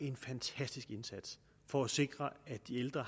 en fantastisk indsats for at sikre at de ældre